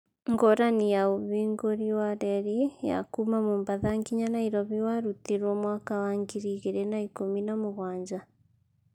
ngũrani ya ũhingũri wa reri ya kuma mombatha nginya nairofi warutirwo mwaka wa ngiri igiri na ikũmi na mũgwanja